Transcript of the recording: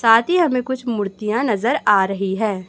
साथ ही हमे कुछ मूर्तियां नजर आ रही हैं।